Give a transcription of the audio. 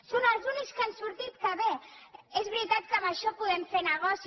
són els únic que han sortit que bé és veritat que amb això podem fer negoci